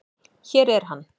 Hér er hann.